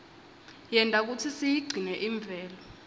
yenta kutsi siyigcine imvelo